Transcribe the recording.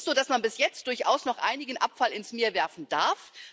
Es ist so, dass man bis jetzt durchaus noch einigen Abfall ins Meer werfen darf.